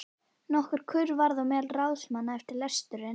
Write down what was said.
Nokkur kurr varð meðal ráðsmanna eftir lesturinn.